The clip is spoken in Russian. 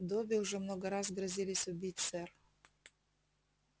добби уже много раз грозились убить сэр